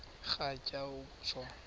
rhatya uku tshona